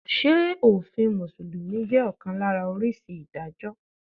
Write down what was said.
Ṣé òfin Mùsùlùmí jẹ́ ọ̀kan lára oríṣi Ìdájọ́?